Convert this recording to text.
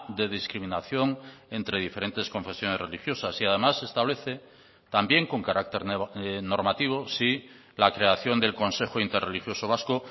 de discriminación entre diferentes confesiones religiosas y además establece también con carácter normativo sí la creación del consejo interreligioso vasco